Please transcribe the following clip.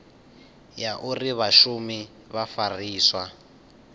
ya uri vhashumi vha fariswa